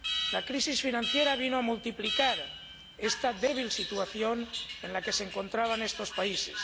La crisis financiera vino a multiplicar esta débil situación en que se encontraban estos países.